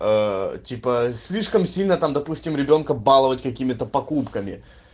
ээ типа слишком сильно там допустим ребёнка баловать какими-то покупками